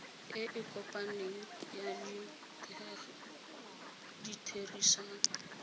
e e kopaneng ya ditherisano